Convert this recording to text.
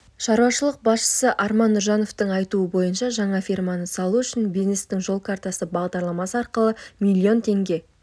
шаруашылық басшысы арман нұржановтың айтуынша жаңа ферманы салу үшін бизнестің жол картасы бағдарламасы арқылы млн теңге